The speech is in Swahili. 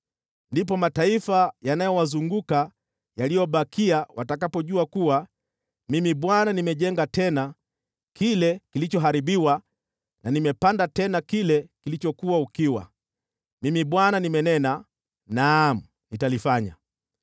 Ndipo mataifa yanayowazunguka yaliyobakia watakapojua kuwa Mimi Bwana nimejenga tena kile kilichoharibiwa na nimepanda tena kile kilichokuwa ukiwa. Mimi Bwana nimenena, nami nitalifanya.’